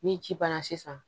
Ni ci banna sisan